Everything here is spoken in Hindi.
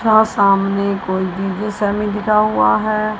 तथा सामने कोई भी विषय में लिखा हुआ है।